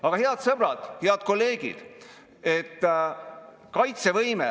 Aga jah, ärme hüppame kivilt kivile, arvestagem, et julgeolek tähendab kõigepealt seda olekut ennast, riigi arenemisvõimet.